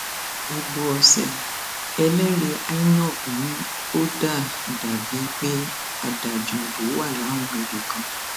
ibo ọsẹ ẹlẹrìí inov ni ó dà dà bíi pé adájúìbò wà láwọn ibì kan